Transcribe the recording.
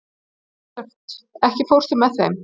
Björt, ekki fórstu með þeim?